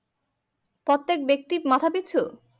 প্রত্যেক ব্যক্তির মাথা পিছু